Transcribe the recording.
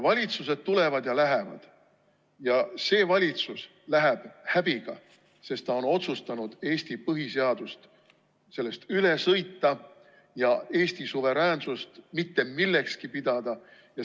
Valitsused tulevad ja lähevad ja see valitsus läheb häbiga, sest ta on otsustanud Eesti põhiseadusest üle sõita ja Eesti suveräänsust mitte millekski pidada.